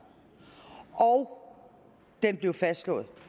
og det blev fastslået